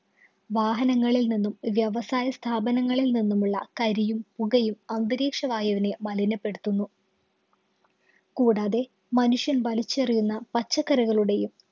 വാഹനങ്ങളില്‍ നിന്നും, വ്യവസായ സ്ഥാപനങ്ങളില്‍ നിന്നുമുള്ള കരിയും, പുകയും അന്തരീക്ഷ വായുവിനെ മലിനപ്പെടുത്തുന്നു. കൂടാതെ, മനുഷ്യന്‍ വലിച്ചെറിയുന്ന പച്ചക്കറികളുടെയും